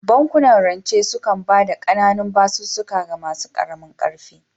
Bankunan rance sukan ba da ƙananun basussuka ga masu ƙaramin ƙarfi